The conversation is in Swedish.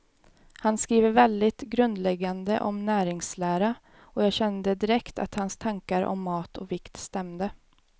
Han skriver väldigt grundläggande om näringslära, och jag kände direkt att hans tankar om mat och vikt stämde.